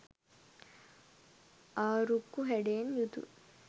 ආරුක්කු හැඩයෙන් යුතු